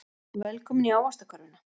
Velkomin í Ávaxtakörfuna.